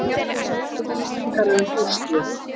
Upplýsingar um úrslit